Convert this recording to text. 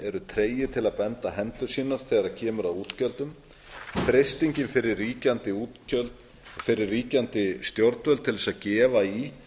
eru tregir til að binda hendur sínar þegar kemur að útgjöldum freistingin fyrir ríkjandi stjórnvöld til að gefa í